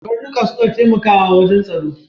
Karnika suna taimakawa wajan tsaro.